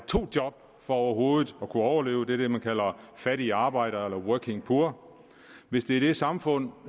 to job for overhovedet at kunne overleve det er det man kalder fattig i arbejde eller working poor hvis det er det samfund